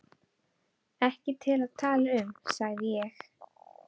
Ekki til að tala um, sagði ég.